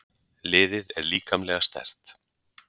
Liðið er líkamlega sterkt.